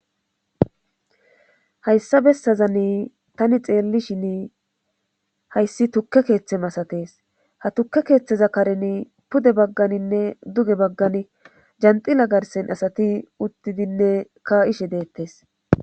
hayssa bessazanni tani xeelli shin hayssi tukke keeththe masatees ha tukke keeththeza karen pude bagganinne duge baggani janxila garsen asati uttidinne ka ishe deettes